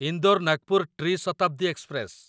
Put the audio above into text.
ଇନ୍ଦୋର ନାଗପୁର ଟ୍ରି ଶତାବ୍ଦୀ ଏକ୍ସପ୍ରେସ